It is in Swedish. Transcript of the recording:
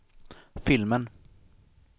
filmen